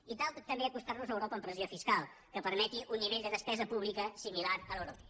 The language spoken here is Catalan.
i cal també acostar nos a europa en pressió fiscal que permeti un nivell de despesa pública similar a l’europea